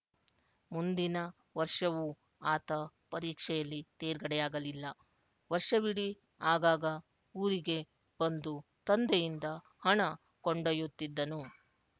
ಮುಂದಿನ ವರ್ಷವೂ ಆತ ಪರೀಕ್ಷೆಯಲ್ಲಿ ತೇರ್ಗಡೆಯಾಗಲಿಲ್ಲ ವರ್ಷವಿಡೀ ಆಗಾಗ ಊರಿಗೆ ಬಂದು ತಂದೆಯಿಂದ ಹಣ ಕೊಂಡೊಯ್ಯುತ್ತಿದ್ದನು